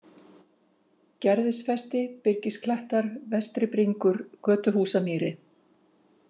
Gerðisfesti, Byrgisklettar, Vestri-Bringur, Götuhúsamýri